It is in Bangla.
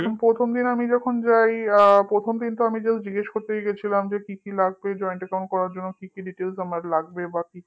প্রথম দিন আমি যখন যাই প্রথমদিন আমি তো শুধু জিজ্ঞেস করতে গিয়েছিলাম কি কি লাগবে joint account করার জন্য কি কি details আমার লাগবে